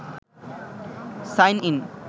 sign in